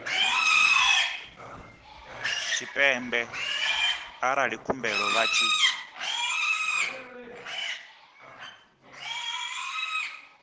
tshipembe arali khumbelo vha tshi